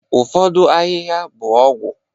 ụfọdụ ahịhịa bụ ọgwụ